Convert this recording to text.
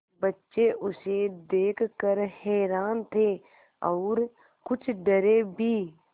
बच्चे उसे देख कर हैरान थे और कुछ डरे भी